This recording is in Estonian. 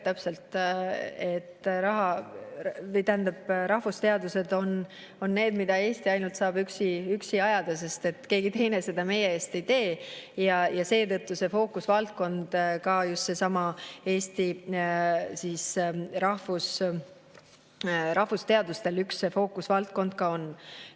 Täpselt, rahvusteadused on need, mida ainult Eesti saab arendada, keegi teine seda meie eest ei tee ja seetõttu needsamad Eesti rahvusteadused üks fookusvaldkond ka on.